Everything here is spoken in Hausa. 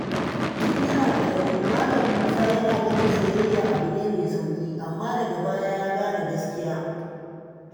Tun yana ƙarami, Malam Musa yana ganin soyayya abu ne mai sauƙi, amma daga baya ya gane gaskiya.